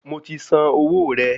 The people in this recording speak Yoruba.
Mo ti san owó rẹ